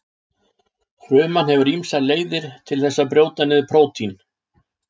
Fruman hefur ýmsar leiðir til þess að brjóta niður prótín.